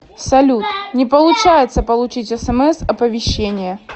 салют не получается получить смс оповещения